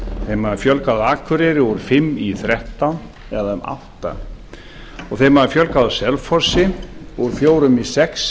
þeim hafði fjölgað á akureyri úr fimm í þrettán eða um áttunda þeim hafði fjölgað á selfossi úr fjórum í sex